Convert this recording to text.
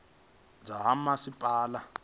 ya dzinnu dza ha masipala